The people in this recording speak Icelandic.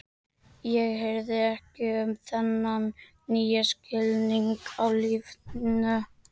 Ég hirði ekki um þennan nýja skilning á lífinu.